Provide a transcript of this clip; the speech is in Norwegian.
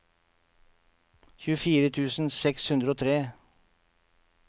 tjuefire tusen seks hundre og tre